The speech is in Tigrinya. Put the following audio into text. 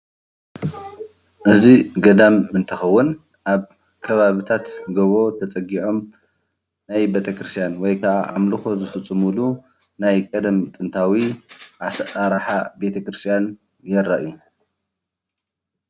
እዚ ገዳም እንትከውን ኣብ ከባቢታት ገቦ ተፀጊዖም ናይ ቤተ ክርስትያን ወይክዓ ኣምልኮ ዝፍፅምሉ ናይ ቀደም ጥንታዊ አሰራርሓ ቤተ ክርስትያን ዘርኢ እዩ፡፡